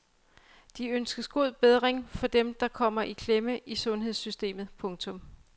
De ønsker god bedring for dem der kommer i klemme i sundhedssystemet. punktum